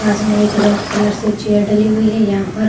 पास में एक red colour से चेयर डली हुई है यहाँ पर।